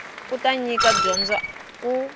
u ta nyika dyondzo ku